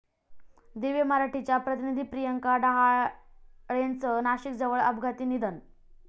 दिव्य मराठीच्या प्रतिनिधी प्रियंका डहाळेचं नाशिकजवळ अपघाती निधन